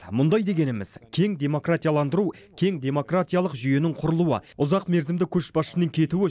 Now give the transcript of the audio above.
мұндай дегеніміз кең демократияландыру кең демократиялық жүйенің құрылуы ұзақ мерзімді көшбасшының кетуі